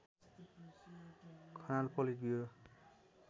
Khanal politburo